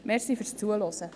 Danke fürs Zuhören.